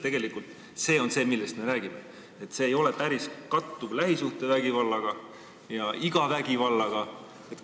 Tegelikult see on see, millest me räägime, ja see ei ole päris kattuv lähisuhtevägivallaga ja igasuguse vägivallaga.